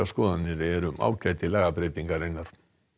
skoðanir eru um ágæti lagabreytingarinnar